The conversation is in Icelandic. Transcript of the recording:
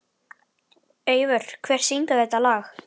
Eivör, hver syngur þetta lag?